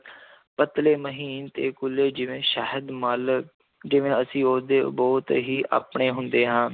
ਪਤਲੇ ਮਹੀਨ ਤੇ ਕੂਲੇ ਜਿਵੇਂ ਸ਼ਹਿਦ ਮਲ ਜਿਵੇਂ ਅਸੀਂ ਉਹਦੇ ਬਹੁਤ ਹੀ ਆਪਣੇ ਹੁੰਦੇ ਹਾਂ,